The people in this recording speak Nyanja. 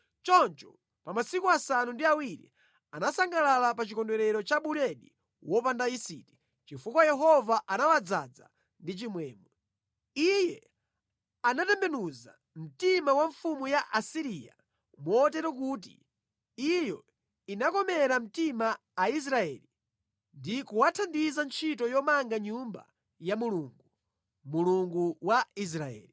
Choncho pa masiku asanu ndi awiri anasangalala pa chikondwerero cha buledi wopanda yisiti, chifukwa Yehova anawadzaza ndi chimwemwe. Iye anatembenuza mtima wa mfumu ya ku Asiriya motero kuti iyo inakomera mtima Aisraeli ndi kuwathandiza ntchito yomanga Nyumba ya Mulungu, Mulungu wa Israeli.